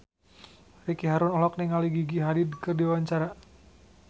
Ricky Harun olohok ningali Gigi Hadid keur diwawancara